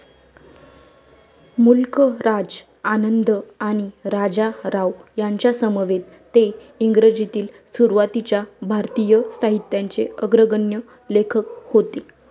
मुल्क राज आनंद आणि राजा राव यांच्यासमवेत ते इंग्रजीतील सुरुवातीच्या भारतीय साहित्याचे अग्रगण्य लेखक होते.